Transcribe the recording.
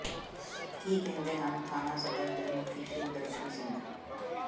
ਕੀ ਕਿਹਦੇ ਹਨ ਥਾਣਾ ਸਦਰ ਦੇ ਮੁਖੀ ਸ਼ਿਵਦਰਸ਼ਨ ਸਿੰਘ